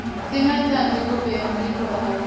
singatsandzi kubhema ligwayi